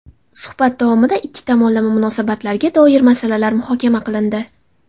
Suhbat davomida ikki tomonlama munosabatlarga doir masalar muhokama qilindi.